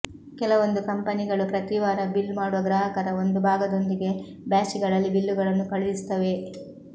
ಕೆಲವೊಂದು ಕಂಪನಿಗಳು ಪ್ರತಿ ವಾರ ಬಿಲ್ ಮಾಡುವ ಗ್ರಾಹಕರ ಒಂದು ಭಾಗದೊಂದಿಗೆ ಬ್ಯಾಚ್ಗಳಲ್ಲಿ ಬಿಲ್ಲುಗಳನ್ನು ಕಳುಹಿಸುತ್ತವೆ